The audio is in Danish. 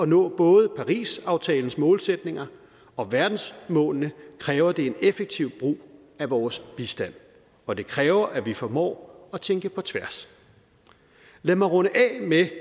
nå både parisaftalens målsætninger og verdensmålene kræver det en effektiv brug af vores bistand og det kræver at vi formår at tænke på tværs lad mig runde af med at